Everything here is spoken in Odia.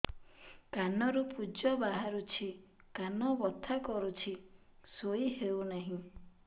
କାନ ରୁ ପୂଜ ବାହାରୁଛି କାନ ବଥା କରୁଛି ଶୋଇ ହେଉନାହିଁ